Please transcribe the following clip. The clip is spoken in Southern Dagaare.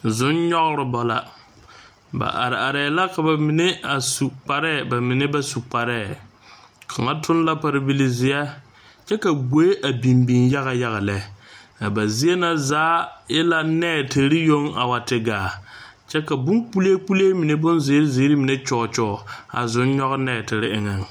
Zʋŋ nyogera ba la, ba are are la ka ba mine su kpare ka ba mine meŋ ba su kaŋa. toŋ la pare bile zeɛ kyɛ ka gboe a biŋ biŋ yaga yaga lɛ a ba zie na zaa e la neetiri yoŋ a wa te gaa kyɛ ka bon kpole kpole mine bon zeɛre a kyoɔ a zʋŋ nyɔɔ neetire eŋe.